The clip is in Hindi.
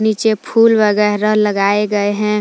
नीचे फूल वगैरा लगाए गए हैं।